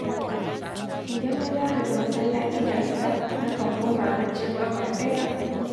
Idan na dawo daga masallaci da asuba, nakan koma baccin awa ɗaya.